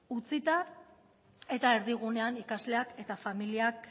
utzita eta erdigunean ikasleak eta familiak